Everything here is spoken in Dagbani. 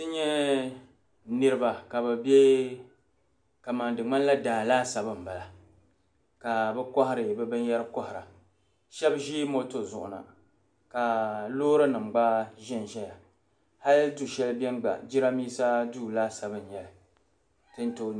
N nyɛ niraba ka bi biɛ kamani di ŋmanila daa laasabu n bala ka bi kohari bi binyɛri kohara shab ʒi moto zuɣu na ka loori nim gba ʒɛnʒɛya hali du shɛli biɛni gba jiranbiisa duu laadabu n nyɛli tin tooi